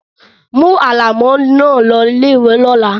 Mú alámọ̀ náà lọ ilé-ìwé lọ́la.